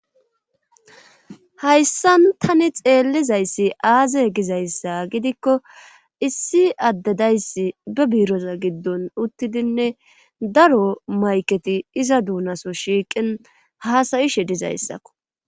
Hayssan tani xeellizayssi aaze gizayssa gidikko issi addedayssi be biiroza giddon uttidinne daro mayketi iza duunaso shiiqin haasayishe dizayssakko.